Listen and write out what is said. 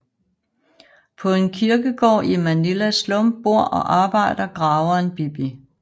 På en kirkegård i Manilas slum bor og arbejder graveren Bibi